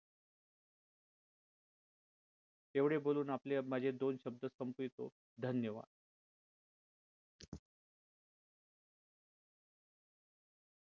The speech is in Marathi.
एवढे बोलून आपले माझे दोन शब्द संपवतो धन्यवाद.